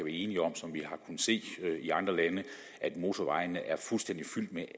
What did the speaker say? enige om som vi har kunnet se i andre lande at motorvejene er fuldstændig fyldt med